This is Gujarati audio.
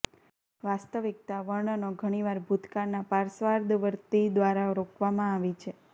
વાસ્તવિકતા વર્ણનો ઘણીવાર ભૂતકાળના પશ્ચાદવર્તી દ્વારા રોકવામાં આવી છે